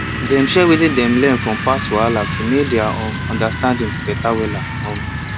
dem share wetin dem learn from past wahala to make their um understanding better wella um